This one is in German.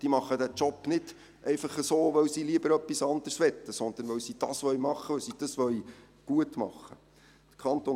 Sie machen diesen Job nicht, weil sie lieber etwas anderes täten, sondern weil sie ihn machen wollen, und weil sie ihn gut machen wollen.